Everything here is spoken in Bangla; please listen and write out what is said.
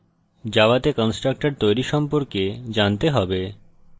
জাভাতে constructor তৈরী সম্পর্কে জানতে হবে